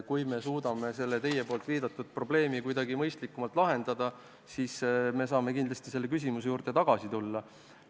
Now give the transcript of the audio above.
" Kui me suudame teie viidatud probleemi kuidagi mõistlikumalt lahendada, siis saame kindlasti selle küsimuse juurde hiljem tagasi tulla.